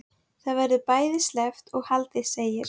Það verður ekki bæði sleppt og haldið segir